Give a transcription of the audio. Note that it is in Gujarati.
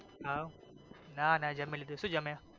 હવ નાના જમી લીધુ શુ જમ્યા?